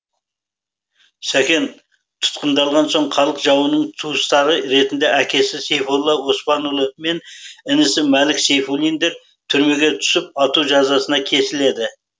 сәкен тұтқындалған соң халық жауының туыстары ретінде әкесі сейфолла оспанұлы мен інісі мәлік сейфуллиндер түрмеге түсіп ату жазасына кесіледі